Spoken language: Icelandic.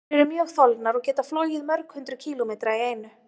Þær eru mjög þolnar og geta flogið mörg hundruð kílómetra í einu.